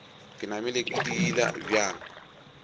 ke namile ke diila bjang